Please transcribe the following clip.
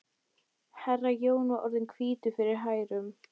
Herra Jón var orðinn hvítur fyrir hærum.